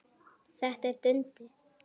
Þetta er Dundi!